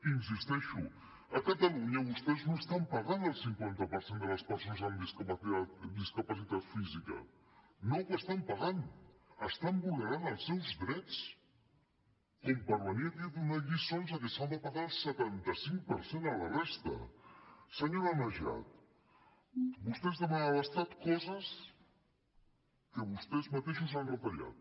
hi insisteixo a catalunya vostès no estan pagant el cinquanta per cent de les persones amb discapacitat física no ho estan pagant estan vulnerant els seus drets com per venir aquí a donar lliçons de que s’ha de pagar el setanta cinc per cent a la resta senyora najat vostès demanen a l’estat coses que vostès mateixos han retallat